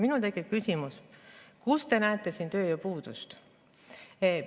Minul tekib küsimus: kus te näete siin tööjõupuudust?